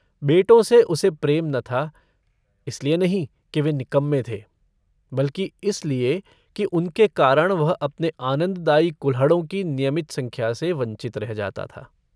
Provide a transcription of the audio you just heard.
बेटों से उसे प्रेम न था। इसलिए नहीं कि वे निकम्मे थे बल्कि इसलिए कि उनके कारण वह अपने आनन्ददायी कुल्हड़ों की नियमित संख्या से वंचित रह जाता था।